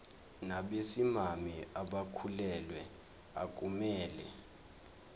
nabesimame abakhulelwe akumele